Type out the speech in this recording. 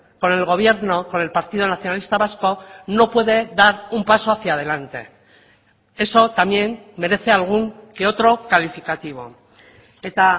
con el gobierno con el partido nacionalista vasco no puede dar un paso hacia adelante eso también merece algún que otro calificativo eta